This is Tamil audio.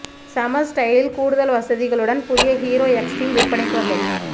செம ஸ்டைலில் கூடுதல் வசதிகளுடன் புதிய ஹீரோ எக்ஸ்ட்ரீம் விற்பனைக்கு வந்தது